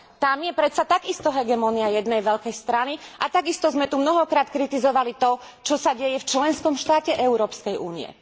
Tam je predsa takisto hegemónia jednej veľkej strany a takisto sme tu mnohokrát kritizovali to, čo sa deje v členskom štáte Európskej únie.